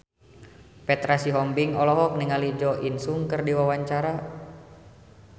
Petra Sihombing olohok ningali Jo In Sung keur diwawancara